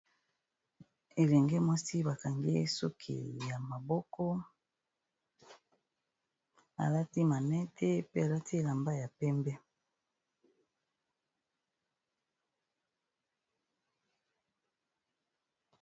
elenge mwasi bakangi suki ya maboko alati manete pe alati elamba ya pembe